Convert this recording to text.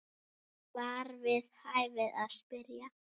var við hæfi að spyrja.